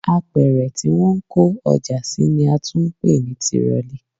Apẹ̀rẹ̀ tí wọ́n ń kó ọjà sí ni a tún ń pè ní tirọlí